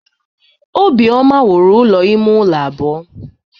Obioma wuru ụlọ ime ụlọ abụọ.